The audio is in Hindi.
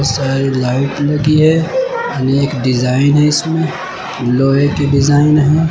सारी लाइट लगी है। अनेक डिजाइन है इसमें। लोहे की डिजाइन है।